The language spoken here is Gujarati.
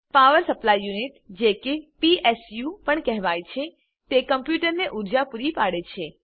પાવર સપ્લાય યુનિટ જે કે પીએસયુ પણ કહેવાય છે તે કમ્પ્યુટરને ઉર્જા પૂરી પાડે છે